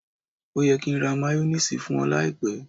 Ó yẹ kí n ra máyónísiìsì fún ọ láìpẹ́.